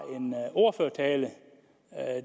ordførertale